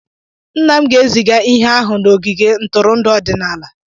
Nna m ga-eziga ihe ahụ n'ogige ntụrụndụ ọdịnala.